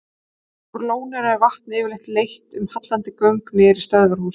Úr lóninu er vatnið yfirleitt leitt um hallandi göng niður í stöðvarhús.